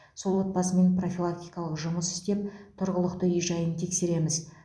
сол отбасымен профилактикалық жұмыс істеп тұрғылықты үй жайын тексереміз